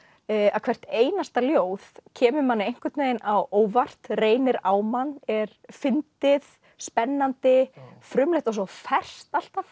að hvert einasta ljóð kemur manni einhvern veginn á óvart reynir á mann er fyndið spennandi frumlegt og svo ferskt alltaf